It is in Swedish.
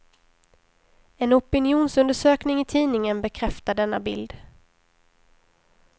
En opinionsundersökning i tidningen bekräftar denna bild.